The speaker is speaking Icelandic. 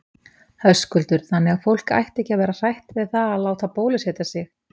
Höskuldur: Þannig að fólk ætti ekki að vera hrætt við það að láta bólusetja sig?